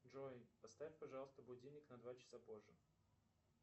джой поставь пожалуйста будильник на два часа позже